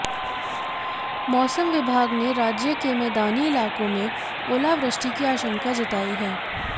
मौसम विभाग ने राज्य के मैदानी इलाकों में ओलावृष्टि की आशंका जताई है